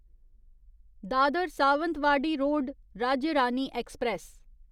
Dadar Sawantwadi road Rajya Rani express